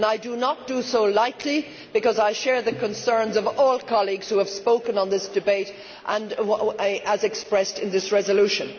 I do not do so lightly, because I share the concerns of all colleagues who have spoken in this debate and as expressed in this resolution.